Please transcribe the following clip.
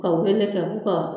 Ka wele kɛ k'u ka